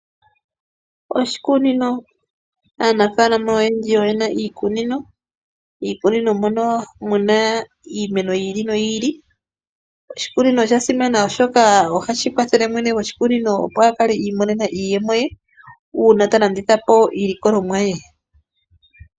Oshikunino! aanafaalama oyendji oye na iikunino, iikunino mono muna iimeno yili noyi ili. Oshikunino osha simana oshoka ohashi kwathele mwene goshikunino opo a kale imonene iiyemo ye uuna ta landitha po iilikolomwa ye.